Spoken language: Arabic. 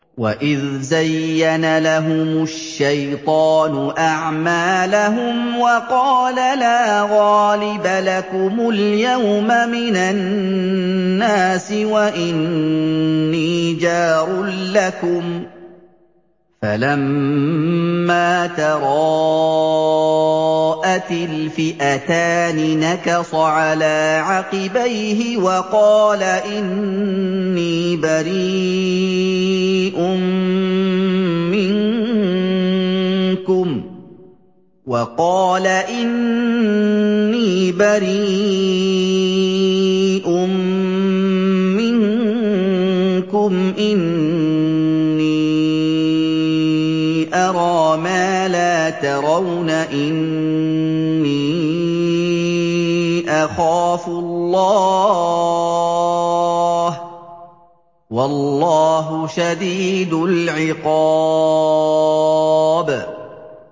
وَإِذْ زَيَّنَ لَهُمُ الشَّيْطَانُ أَعْمَالَهُمْ وَقَالَ لَا غَالِبَ لَكُمُ الْيَوْمَ مِنَ النَّاسِ وَإِنِّي جَارٌ لَّكُمْ ۖ فَلَمَّا تَرَاءَتِ الْفِئَتَانِ نَكَصَ عَلَىٰ عَقِبَيْهِ وَقَالَ إِنِّي بَرِيءٌ مِّنكُمْ إِنِّي أَرَىٰ مَا لَا تَرَوْنَ إِنِّي أَخَافُ اللَّهَ ۚ وَاللَّهُ شَدِيدُ الْعِقَابِ